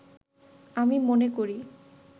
আমি মনে করি